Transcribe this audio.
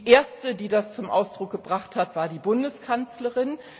Die Erste, die das zum Ausdruck gebracht hat, war die Bundeskanzlerin.